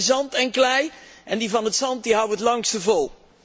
We hebben zand en klei en die van het zand houden het langste vol.